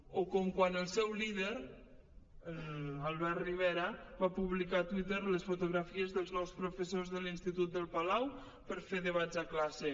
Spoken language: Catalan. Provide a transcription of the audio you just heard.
o com quan el seu líder l’albert rivera va publicar a twitter les fotografies dels nou professors de l’institut del palau per fer debats a classe